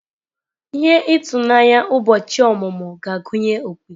Ihe ịtụnanya ụbọchị ọmụmụ ga-agụnye opi.